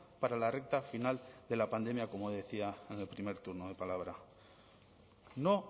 para la recta final de la pandemia como decía en el primer turno de palabra no